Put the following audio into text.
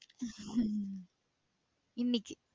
இன்னைக்கு.